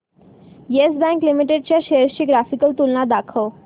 yes bank limited च्या shares ची graphical तुलना दाखव